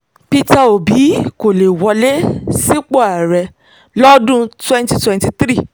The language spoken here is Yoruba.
peter obi kò lè wọlé sípò ààrẹ lọ́dún twenty twenty three